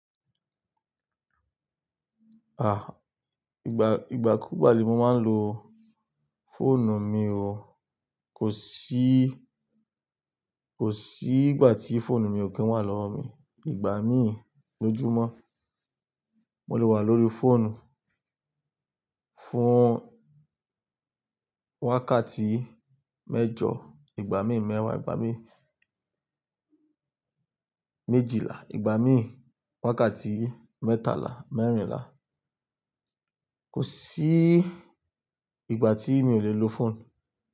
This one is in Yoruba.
Ah! Ìgbà, ìgbà kúùgbà ni mo máa ń lo fóònù mi o. Kò sí, kò sí ìgbà tí fóònù mi ò kí ń wà lọ́wọ́ mi. Ìgbà míì lójúmọ́, mo lè wà lórí fóònù fún wákàtí mẹ́jọ, ìgbà míì mẹ́wàá, ìgbà míì méjìlá, ìgbà míì wákàtí mẹ́tàlá, mẹ́rìnlá. Kò sí ìgbà tí mi ò le lo fóònù.